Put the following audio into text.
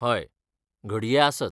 हय, घडये आसत.